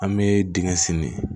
An bɛ dingɛ senni